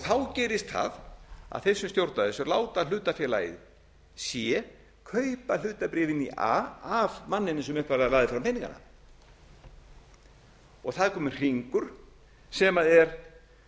þá gerist það að þeir sem stjórna þessu láta hlutafélagið c kaupa hlutabréfin í a af manninum sem upphaflega lagði fram peningana það er kominn hringur sem er